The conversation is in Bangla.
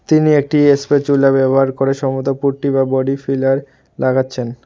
তিনি একটি এসস্পেচুলা ব্যবহার করে সমুদাপুট্টি বা বডি ফিলার লাগাচ্ছেন।